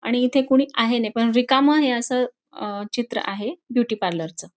आणि इथे कोणी आहे नाही पण रिकामे आहे हे असं अं चित्र आहे ब्युटीपार्लरच .